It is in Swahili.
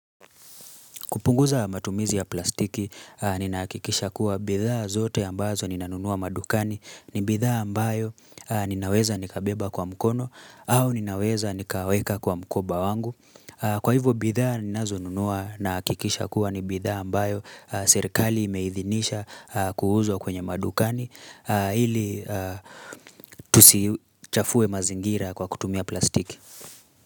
Kupunguza matumizi ya plastiki, ninahakikisha kuwa bidhaa zote ambazo ninanunua madukani ni bidhaa ambayo ninaweza nikabeba kwa mkono au ninaweza nikaweka kwa mkoba wangu. Kwa hivyo bidhaa ninazo nunua nahakikisha kuwa ni bidhaa ambayo serikali imeidhinisha kuuzwa kwenye madukani ili tusichafue mazingira kwa kutumia plastiki.